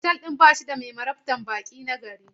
Otal ɗin ba shi da mai marabtan baƙi nagari.